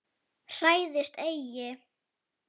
Hræðist eigi!